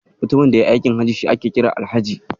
Mutumin da yayi aikin Hajji shi ake kira Alhaji.